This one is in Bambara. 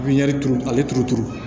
Pipiniyɛri turu ale turu turu